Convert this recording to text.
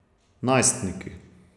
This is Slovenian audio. Najstniki.